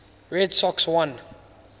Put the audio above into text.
red sox won